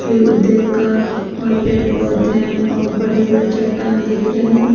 सूर्य उदय का और पेड़ पौधे है और बड़े से बड़े चट्टान दिख रहे हैं।